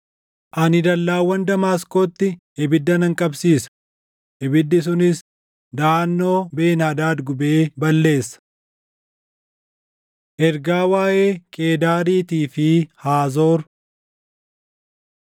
“Ani dallaawwan Damaasqootti ibidda nan qabsiisa; ibiddi sunis daʼannoo Ben-Hadaad gubee balleessa.” Ergaa Waaʼee Qeedaariitii fi Haazoor